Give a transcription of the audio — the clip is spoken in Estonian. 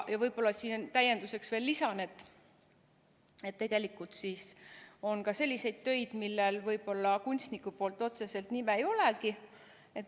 Lisan võib-olla siia veel täienduseks, et tegelikult on ka selliseid töid, millel kunstniku pandud nime otseselt ei olegi.